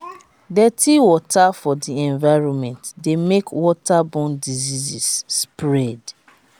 dirty water for di environment de make waterborne diseases spread